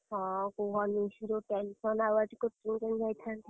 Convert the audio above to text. ହଁ କୁହନି ଯୋଉ tension ଆଉ ଆଜି coaching କେମିତି ଯାଇଥାନ୍ତି?